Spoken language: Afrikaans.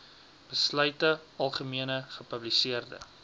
besluite algemene gepubliseerde